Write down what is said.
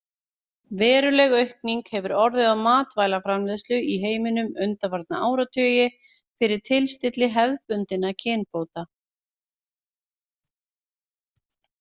Veruleg aukning hefur orðið á matvælaframleiðslu í heiminum undanfarna áratugi fyrir tilstilli hefðbundinna kynbóta.